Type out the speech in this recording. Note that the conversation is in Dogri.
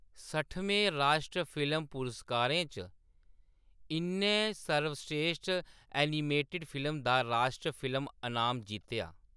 सट्ठमें राश्ट्री फिल्म पुरस्कारें च, इʼन्नै सर्वश्रेश्ठ एनिमेटेड फिल्म दा राश्ट्री फिल्म अनाम जित्तेआ।